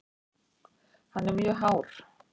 Hann er mjög hár.